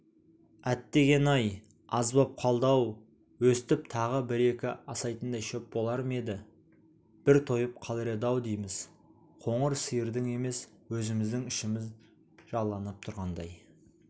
әттегене-ай аз боп қалды-ау өстіп тағы бір-екі асайтындай шөп болар ма еді бір тойып қалар еді-ау дейміз қоңыр сиырдың емес өзіміздің ішіміз жаланып тұрғандай